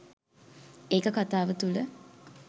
ඒක කතාව තුළ